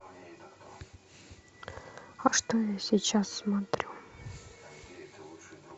а что я сейчас смотрю